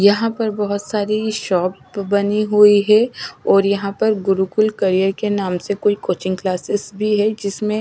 यहां पर बहोत सारी शॉप बनी हुई है और यहां पर गुरुकुल करियर के नाम से कोई कोचिंग क्लासेस भी है जिसमें--